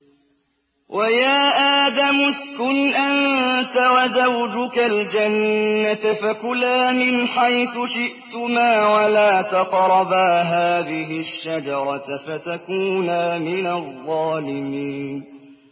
وَيَا آدَمُ اسْكُنْ أَنتَ وَزَوْجُكَ الْجَنَّةَ فَكُلَا مِنْ حَيْثُ شِئْتُمَا وَلَا تَقْرَبَا هَٰذِهِ الشَّجَرَةَ فَتَكُونَا مِنَ الظَّالِمِينَ